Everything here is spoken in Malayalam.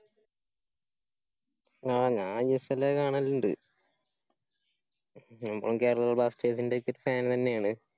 ആ ഞാന്‍ ഐ എസ് എല്ല് കാണല്ണ്ട്. കേരള ബ്ലാസ്റ്റേഴ്സിന്റെയൊക്കെ fan തന്നേയാണ്.